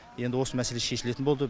енді осы мәселе шешілетін болды